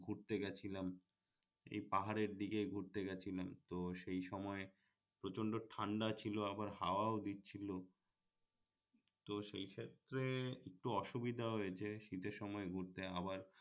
ঘুরতে গেছিলাম এই পাহাড়ের দিকে ঘুরতে গেছিলাম তো সেই সময় প্রচন্ড ঠান্ডা ছিল আবার হাওয়াও দিচ্ছিলো তো সেই ক্ষেত্রে একটু অসুবিধা হয়েছে শীতের সময় ঘুরতে আবার